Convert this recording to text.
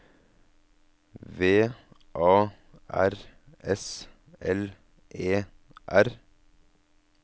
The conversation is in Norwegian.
V A R S L E R